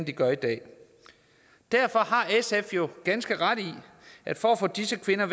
de gør i dag derfor har sf jo ganske ret i at for at få disse kvinder